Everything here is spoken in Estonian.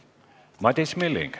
Madis Milling.